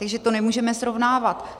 Takže to nemůžeme srovnávat.